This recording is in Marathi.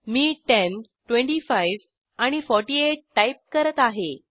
मी 10 25 आणि 48 टाईप करत आहे